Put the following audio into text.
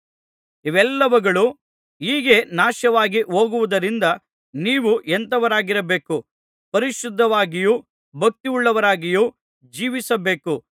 ಇವೆಲ್ಲವುಗಳು ಹೀಗೆ ನಾಶವಾಗಿ ಹೋಗುವುದರಿಂದ ನೀವು ಎಂಥವರಾಗಿರಬೇಕು ಪರಿಶುದ್ಧವಾಗಿಯೂ ಭಕ್ತಿಯುಳ್ಳವರಾಗಿಯೂ ಜೀವಿಸಬೇಕು